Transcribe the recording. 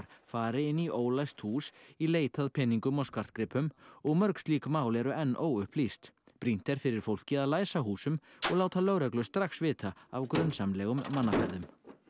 fari inni í ólæst hús í leit að peningum og skartgripum og mörg slík mál eru enn óupplýst brýnt er fyrir fólki að læsa húsum og láta lögreglu strax vita af grunsamlegum mannaferðum